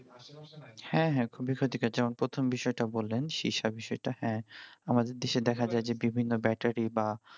হ্যাঁ হ্যাঁ খুবই ক্ষতিকর যেমন প্রথম বিষয়টা বললেন হ্যাঁ আমাদের দেশে দেখা যায় যে বিভিন্ন battery বা